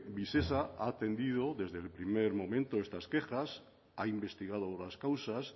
visesa ha atendido desde el primer momento estas quejas ha investigado las causas